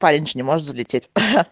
парень же не может залететь ха